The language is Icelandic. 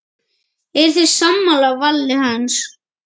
Eruð þið sammála vali hans?